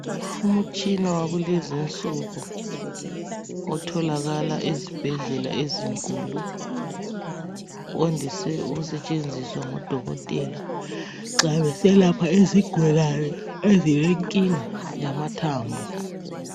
Umutshina wakulezi nsuku otholakala ezibhedlela ezinkulu wandise ukusetshenziswa ngodokotela nxa beselapha izigulane ezilenkinga yamathambo.